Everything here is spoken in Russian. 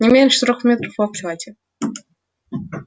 не меньше трёх метров в обхвате